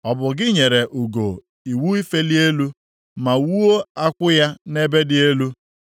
Ọ bụ gị nyere ugo iwu ifeli elu ma wuo akwụ ya nʼebe dị elu?